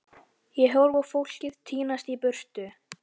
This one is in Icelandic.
Ég horfi á fólkið tínast í burtu.